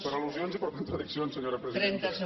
per al·lusions i per contradiccions senyora presidenta